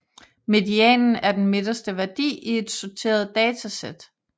Medianen er den midterste værdi i et sorteret datasæt